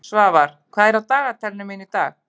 Svafar, hvað er á dagatalinu mínu í dag?